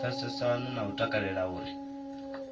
pfesesana na u takalela uri